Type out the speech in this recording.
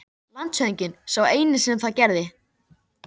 LANDSHÖFÐINGI: Sá eini sem það gerði.